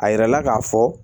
A yirala k'a fɔ